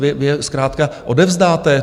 Vy je zkrátka odevzdáte?